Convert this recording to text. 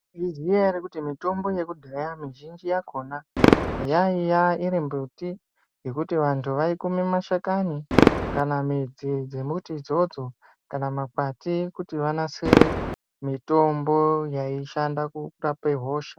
Izwi riyana rekuti mitombo yekudhaya mizhinji yakona yaiya iri mbuti yekuti vanthu vaikume mashakani kana midzi dzembuti idzodzo kana makwati kuti vanasire mitombo yaishande kurape hosha.